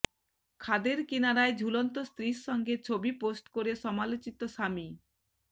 খাদের কিনারায় ঝুলন্ত স্ত্রীর সঙ্গে ছবি পোস্ট করে সমালোচিত স্বামী